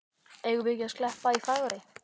Eigum við ekki að skreppa í Fagurey?